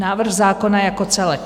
Návrh zákona jako celek.